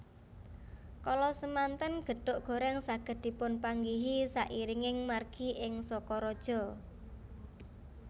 Kala samanten gethuk gorèng saged dipunpanggihi sairinging margi ing Sokaraja